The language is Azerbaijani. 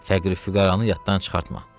Fəqir-füqəranı yaddan çıxartma.